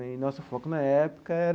E nosso foco, na época, era